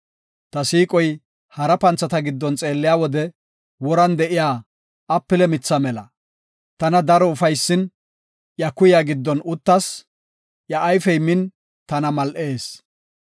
Ta siiqoy hara panthata giddon xeelliya wode woran de7iya apile mithaa mela. Tana daro ufaysin, iya kuyaa giddon uttas; iya ayfey min tana mal7ees.